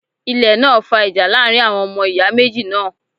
Ilẹ̀ náà fa ìjà láàrin àwọn ọmọ ìyá méjì náà